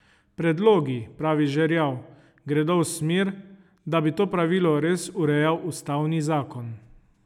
Predlogi, pravi Žerjav, gredo v smer, da bi to pravilo res urejal ustavni zakon.